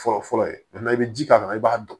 Fɔlɔ fɔlɔ ye i bɛ ji k'a kan i b'a dɔn